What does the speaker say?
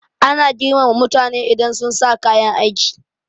Ana girmama mutane idan sunsa kayan aiki